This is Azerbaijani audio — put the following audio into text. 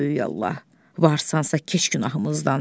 Ey böyük Allah, varsansa keç günahımızdan.